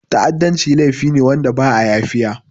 Ta'adanci laifi ne wanda ba'a yafiya.